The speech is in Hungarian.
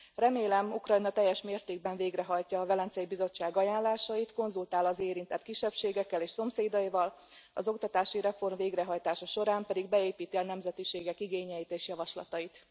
Remélem, Ukrajna teljes mértékben végrehajtja a Velencei Bizottság ajánlásait, konzultál az érintett kisebbségekkel és szomszédaival, az oktatási reform végrehajtása során pedig beépíti a nemzetiségek igényeit és javaslatait.